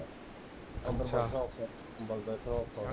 ਕੰਬਲ ਦਾ